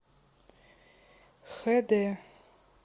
хд